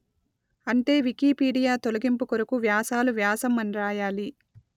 అంటే వికీపీడియా తొలగింపు కొరకు వ్యాసాలు వ్యాసం అని రాయాలి